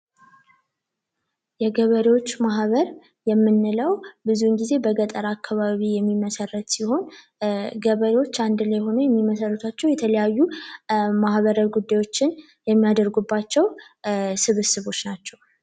የገበሬወች ማህበር የምንለዉ ብዙዉን ጊዜ በገጠር አካባቢ የሚመሰረት ሲሆን ገበሬወች አንድ ላይ በመሆን የሚመሰርቷቸዉ የተለያዩ ማህበራዊ ጉዳዮችን የሚያደርጉባቸዉ ስብስቦች ናቸዉ።